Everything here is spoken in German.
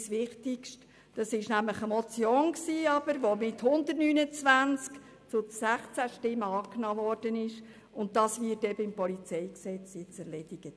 Die Motion wurde mit 129 zu 16 Stimmen angenommen, und das Anliegen wird nun im Rahmen der PolG-Revision erledigt.